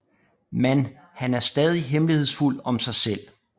Man han er stadig hemmelighedsfuld om sig selv